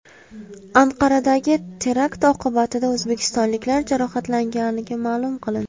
Anqaradagi terakt oqibatida o‘zbekistonliklar jarohatlanmagani ma’lum qilindi.